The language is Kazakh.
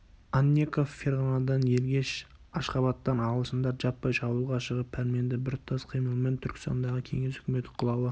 анненков ферғанадан ергеш ашғабадтан ағылшындар жаппай шабуылға шығып пәрменді біртұтас қимылмен түркістандағы кеңес үкіметі құлауы